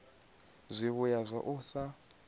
zwivhuya zwa u sa namedza